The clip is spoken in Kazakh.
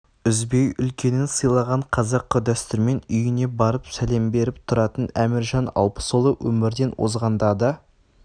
үзбей үлкенін сыйлаған қазақы дәстүрмен үйіне барып сәлем беріп тұратын әміржан алпысұлы өмірден озғанда да